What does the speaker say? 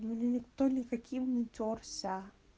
мне никто никаким не тёрся